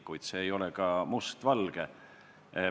Kuid see ei ole ka mustvalge.